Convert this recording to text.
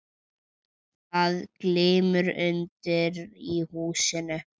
Það glymur undir í húsinu.